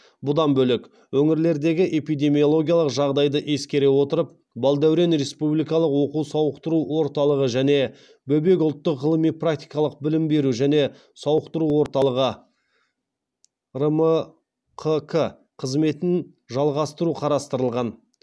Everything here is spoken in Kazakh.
бұдан бөлек өңірлердегі эпидемиологиялық жағдайды ескере отырып балдәурен республикалық оқу сауықтыру орталығы және бөбек ұлттық ғылыми практикалық білім беру және сауықтыру орталығы рмқк қызметін жалғастыру қарастырылған